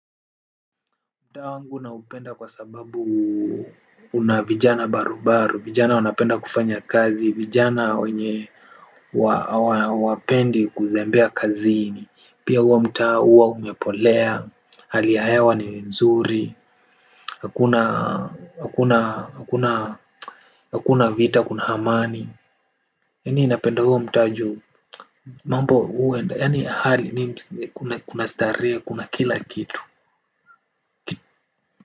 Mtaa wangu naupenda kwa sababu una vijana barubaru, vijana wanapenda kufanya kazi, vijana wenye hawapendi kuzembea kazini, pia huo mtaa huwa umepolea, hali ya hewa ni nzuri, hakuna, hakuna, hakuna, hakuna vita, kuna amani, yaani ninapenda huo mtaa juu. Mambo huwa enda, yaani hali ni kunastarehe, kuna kila kitu.